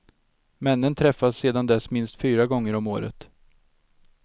Männen träffas sedan dess minst fyra gånger om året.